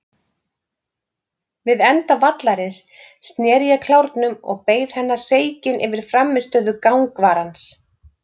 Við enda vallarins sneri ég klárnum og beið hennar hreykinn yfir frammistöðu gangvarans.